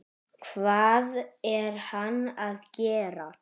Hvað er hann að gera?